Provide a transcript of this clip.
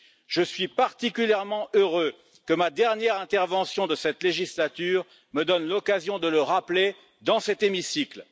Je suis particulièrement heureux que ma dernière intervention de cette législature me donne l'occasion de le rappeler, dans cet hémicycle.